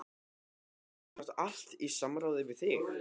Þetta var semsagt allt í samráði við þig?